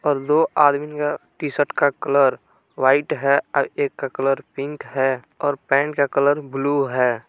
और दो आदमीन का टी शर्ट का कलर व्हाइट है और एक का कलर पिंक है और पैंट का कलर ब्लू है।